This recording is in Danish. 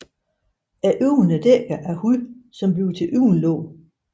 Øjnene er dækket af hud som bliver til øjenlåg